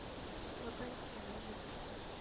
вакансия на жертву